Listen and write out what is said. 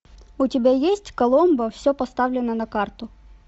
у тебя есть коломбо все поставлено на карту